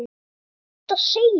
Hvað er hægt að segja.